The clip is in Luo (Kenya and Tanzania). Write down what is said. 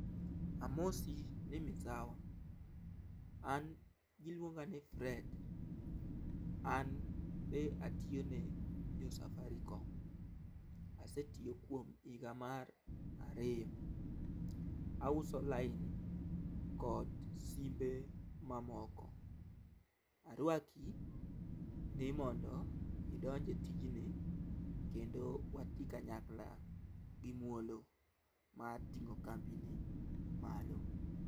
Amosi ni misawa, an giluonga ni Fred. An be atiyo ne jo safarikom . Asetiyo kuom higa mar ariyo, auso line kod simbe mamoko . Arwaki ni mondo idonj e tij ni kendo watii kanyakla gi muolo mar ting'o kambi ni malo.